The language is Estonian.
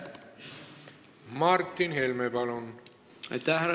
Martin Helme, palun!